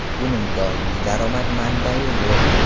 Uning doimiy daromad manbai yo‘q.